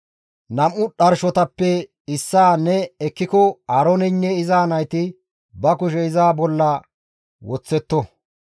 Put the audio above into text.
«Nam7u dharshotappe issaa ne ekkiko Aarooneynne iza nayti ba kushe iza hu7e bolla woththetto.